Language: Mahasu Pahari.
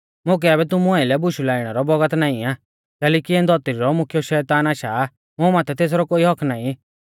मुकै आबै तुमु आइलै बुशु लाइणै रौ बौगत नाईं आ कैलैकि इऐं धौतरी रौ मुख्यौ शैतान आशा आ मुं माथै तेसरौ कोई हक्क्क नाईं